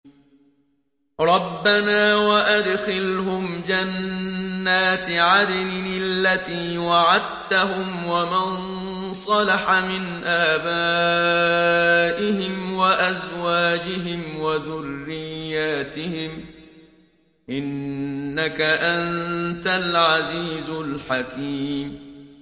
رَبَّنَا وَأَدْخِلْهُمْ جَنَّاتِ عَدْنٍ الَّتِي وَعَدتَّهُمْ وَمَن صَلَحَ مِنْ آبَائِهِمْ وَأَزْوَاجِهِمْ وَذُرِّيَّاتِهِمْ ۚ إِنَّكَ أَنتَ الْعَزِيزُ الْحَكِيمُ